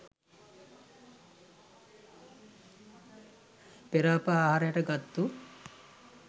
පෙර අප ආහාරයට ගත්තු